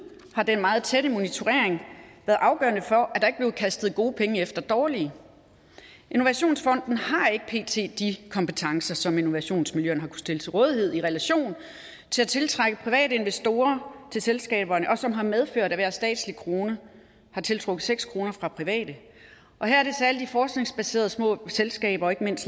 har den meget tætte monitorering været afgørende for at der ikke blev kastet gode penge efter dårlige innovationsfonden har ikke pt de kompetencer som innovationsmiljøerne stille til rådighed i relation til at tiltrække private investorer til selskaberne og som har medført at hver statslig krone har tiltrukket seks kroner fra private og her er det særlig de forskningsbaserede små selskaber og ikke mindst